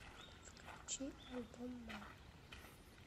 включи альбом мама